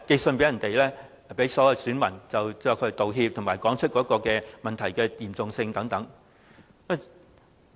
是向所有選民發信道歉，以及道出問題的嚴重性等。